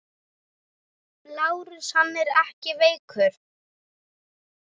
LÁRUS: Hann er ekki veikur!